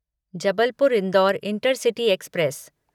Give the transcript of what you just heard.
Jabalpur Indore intercity express